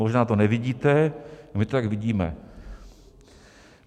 Možná to nevidíte, my to tak vidíme.